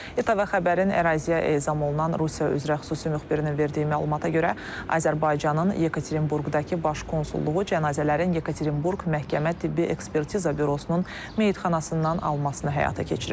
İTV Xəbərin əraziyə ezam olunan Rusiya üzrə xüsusi müxbirinin verdiyi məlumata görə, Azərbaycanın Yekaterinburqdakı baş konsulluğu cənazələrin Yekaterinburq məhkəmə tibbi ekspertiza bürosunun meyidxanasından almasını həyata keçirir.